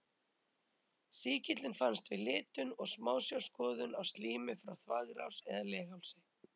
Sýkillinn finnst við litun og smásjárskoðun á slími frá þvagrás eða leghálsi.